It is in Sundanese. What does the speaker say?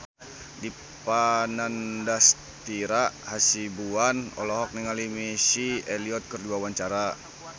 Dipa Nandastyra Hasibuan olohok ningali Missy Elliott keur diwawancara